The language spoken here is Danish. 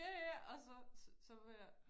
Ja ja og så så var jeg